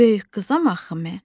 Böyük qızam axı mən.